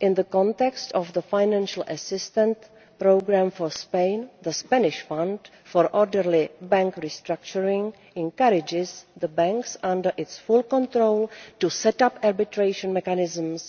in the context of the financial assistance programme for Spain, the Spanish Fund for Orderly Bank Restructuring encourages the banks under its full control to set up arbitration mechanisms